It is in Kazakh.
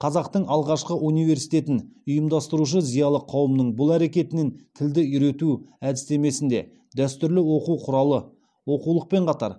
қазақтың алғашқы университетін ұйымдастырушы зиялы қауымның бұл әрекетінен тілді үйрету әдістемесінде дәстүрлі оқу құралы оқулықпен қатар